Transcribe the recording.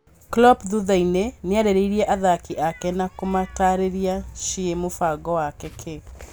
Klopp thutha-inĩ nĩarĩirie athaki ake na kũmatarĩria ciiĩ mũbango wake ki